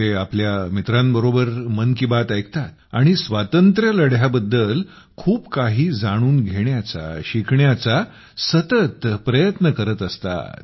ते आपल्या मित्रांसोबत मन की बात ऐकतात आणि स्वातंत्र्यलढ्याबद्दल खूप काही जाणून घेण्याचा शिकण्याचा सतत प्रयत्न करत करत असतात